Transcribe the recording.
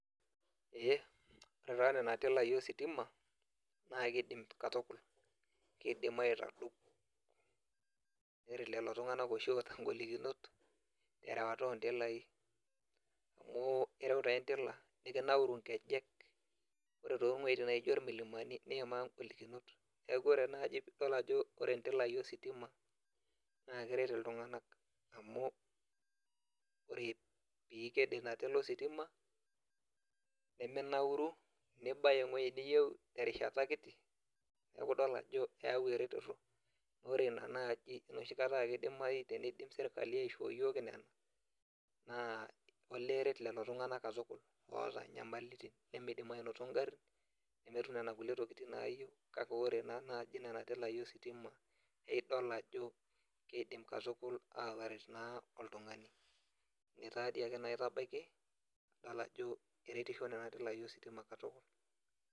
Eeh ore taa nena tilai ositima naa kidim katukul kidim aitadou neret lelo tung'anak oshi oota ingolikinot erewata intilai amu ireu taa endila nikinauru inkejek ore towueitin naijo irmulimani niyimaa ingolikinot neku ore naaji pidol ajo ore indilai ositima naa keret iltung'anak amu ore piiked ena tila ositima neminauru nibaya eng'ueji niyieu terishata kiti neku idol ajo eyawu ereteto ore ina naaji enoshi kata akidimai teneidim sirkali aishoo iyiok nena naa olee eret lelo tung'anak katukul oota inyamalitin nemeidim anoto ingarrin nemetum nena kulie tokiting naayieu kake ore naa naaji nena tilai ositima eidol ajo keidim katukul ataret naa oltung'ani ine taadi ake naa aitabaiki idol ajo eretisho nena tilai ositima katukul.